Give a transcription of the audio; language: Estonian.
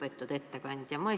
Lugupeetud ettekandja!